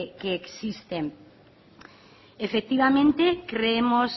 que existe efectivamente creemos